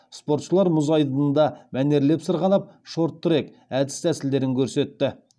спортшылар мұз айдынында мәнерлеп сырғанап шорт трек әдіс тәсілдерін көрсетті